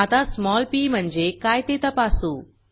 आता small P म्हणजे काय ते तपासू